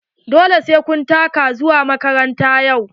Dole sai kun taka zuwa makaranta yau.